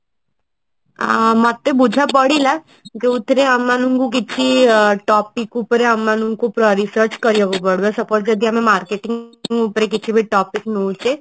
ଆଁ ମତେ ବୁଝା ପଡିଲା ଯୋଉଥିରେ ଆମକୁ କିଛି topic ଉପରେ ଆମ ମାନଙ୍କୁ research କରିବାକୁ ପଡିବ ସେପଟେ ଯଦି ଆମେ market ରୁ ଉପରେ ଯଦି କିଛି topic ନଉଛେ